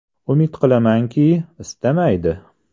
Umid qilamanki, istamaydi.